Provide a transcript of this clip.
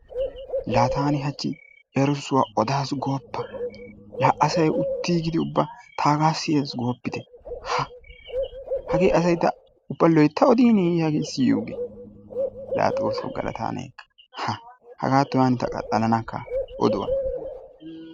Laa taani hachchi erissuwa odaassi gooppa! La asay uttiigidi ubba taagaa siyees gooppitte. Haa! Hagee asay loytta oddiineye siyiyogee laa xoosso galata ne ekka hagattuwa hanin ta qaxxalanakka oduwa.